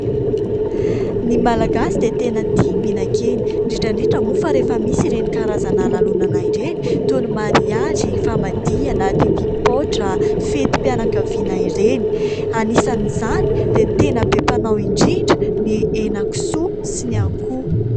Ny Malagasy dia tena tia mihinan-kena, indrindra indrindra moa fa rehefa misy ireny karazana lalonana ireny toy ny mariazy, famadiana, didipoitra, fetim-pianakaviana ireny. Anisan'izany dia tena be mpanao indrindra ny henakisoa sy ny akoho.